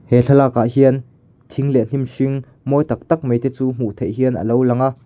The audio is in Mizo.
he thlalakah hian thing leh hnim hring mawi tak tak mai te chu hmuh theih hian a lo lang a.